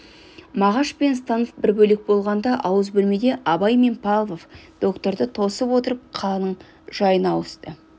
мағаш пен станов бір бөлек болғанда ауыз бөлмеде абай мен павлов докторды тосып отырып қаланың жайына ауысты